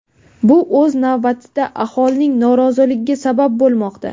Bu o‘z navbatida aholining noroziligiga sabab bo‘lmoqda.